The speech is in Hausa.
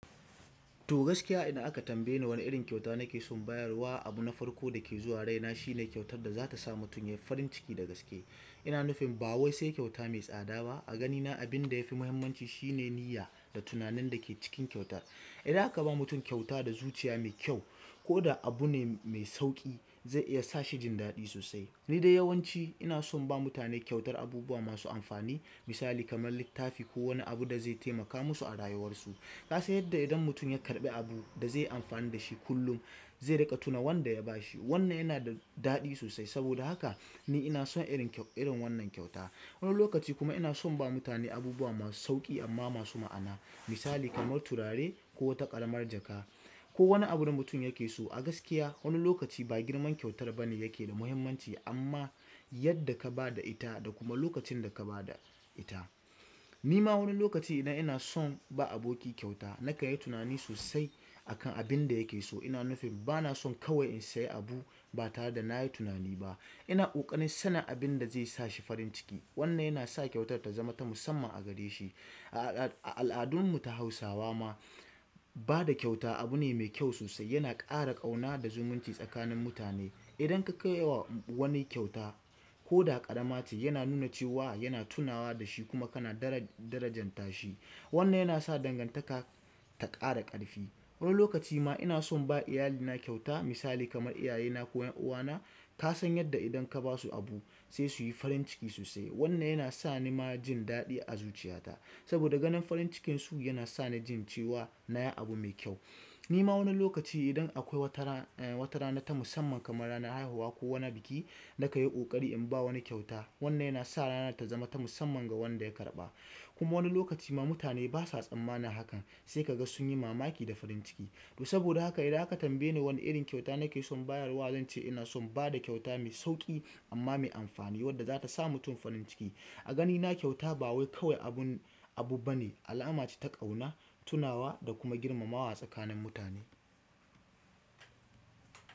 To gaskiya idan aka tambaye wane irin kyauta nake son bayarwa abina farko dake zuwa raina shine kyautar daza tasa mutum yayi farin ciki da gaske ina nufin ba wai sai kyauta mai tsada ba. A ganina abinda yafi muhimmanci shine niyya da tunanin dake cikin kyautar idan aka ba mutum kyauta da zuciya mai kyau ko da abu ne mai sauƙi, zai iya sa shi jin daɗi sosai. Ni dai yawanci ina son ba mutane kyautar abubuwa masu amfani. Misali kamar littafi ko wani abu da zai taimaka musu a rayuwarsu. Ka san yadda idan mutum ya karɓi abu da zai yi amfani da shi kullum, zai riƙa tuna wanda ya ba shi. Wannan yana da daɗi sosai. Saboda haka ni ina son irin irin wannan kyauta. Wani lokaci kuma ina son ba mutane abubuwa masu sauƙi amma masu ma'ana. Misali kamar turare ko wata ƙaramar jaka ko wani abun da mutum yake so. A gaskiya wani lokaci ba girman kyautar ba ne yake da muhimmanci amma yadda ka ba da ita da kuma lokacin da ka ba da ita. Ni ma wani lokaci idan ina son ba aboki kyauta, na kanyi tunani sosai akan abin da yake so. Ina nufin ba na son kawai in sayi abu ba tare da na yi tunani ba. Ina ƙoƙarin sanin abin da zai sa shi farin ciki. Wannan yana sa kyautar ta zama ta musamman a gare shi. A al'adun mu ta Hausawa ma ba da kyauta abu ne mai kyau sosai. Yana ƙara ƙauna da zumunci tsakanin mutane. Idan ka kai wa wani kyauta ko da ƙarama ce, yana nuna cewa yana tunawa da shi kuma kana darajar darajanta shi. Wannan yana sa dangantaka ta ƙara ƙarfi. Wani lokaci ma ina son ba iyalina kyauta. Misali kamar iyayena ko 'yan uwana. Ka san yadda idan ka ba su abu sai su yi farin ciki sosai. Wannan yana sa ni ma jin daɗi a zuciyata saboda ganin farin cikin su yana sa ni jin cewa na yi abu mai kyau. Nima wani lokaci idan akwai wata rana ta musamman kamar ranar haihuwa ko wani biki nakanyi ƙoƙari inba wani kyauta. Wannan yana sa ranar ta zama ta musamman ga wanda ya karɓa. Kuma wani lokaci ma mutane ba sa tsammana hakan sai ka ga sun yi mamaki da farin ciki. To saboda haka idan aka tambaye ni wane irin kyauta nake son bayarwa, zan ce ina son ba da kyauta mai sauƙi amma mai amfani wadda za ta sa mutum farin ciki. A ganina kyauta ba wai kawai abun abu ba ne, alama ce ta ƙauna, tunawa da kuma girmamawa tsakanin mutane.